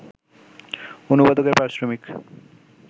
অনুবাদকের পারিশ্রমিক